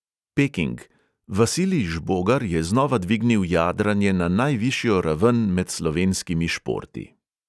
Peking: vasilij žbogar je znova dvignil jadranje na najvišjo raven med slovenskimi športi.